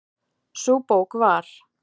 Sú bók var